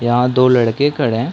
यहाँ दो लड़के खड़े है।